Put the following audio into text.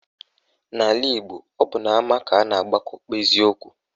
N'ala Igbo, ọ bụ n'ama ka a na-agbakọ kpezie okwu